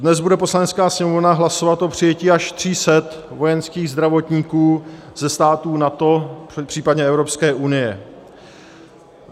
Dnes bude Poslanecká sněmovna hlasovat o přijetí až 300 vojenských zdravotníků ze států NATO, případně Evropské unie.